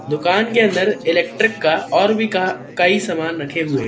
दुकान के अंदर इलेक्ट्रिक का और भी का कई सामान रखें हुए--